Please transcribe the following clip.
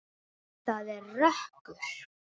Það er rökkur.